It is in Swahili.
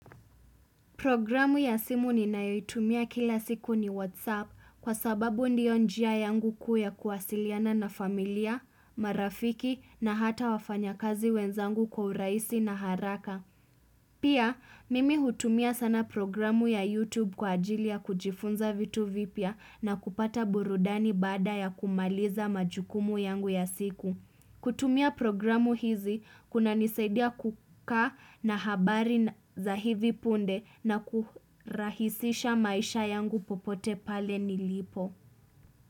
Programu ya simu ninayoitumia kila siku ni WhatsApp kwa sababu ndiyo njia yangu kuu ya kuwasiliana na familia, marafiki na hata wafanyakazi wenzangu kwa urahisi na haraka. Pia, mimi hutumia sana programu ya YouTube kwa ajili ya kujifunza vitu vipya na kupata burudani baada ya kumaliza majukumu yangu ya siku. Kutumia programu hizi, kunanisadia kukaa na habari za hivi punde na kurahisisha maisha yangu popote pale nilipo.